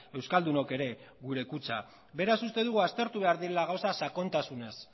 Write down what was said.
euskaldunok ere gure kutxa beraz uste dugu aztertu behar direla gauzak sakontasunez